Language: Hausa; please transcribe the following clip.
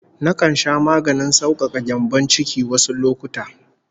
Nakan sha maganin saukaka gyambon ciki (olsa) wasu lokuta